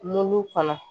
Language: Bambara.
Mulu kɔnɔ